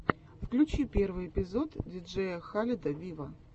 включи первый эпизод диджея халеда виво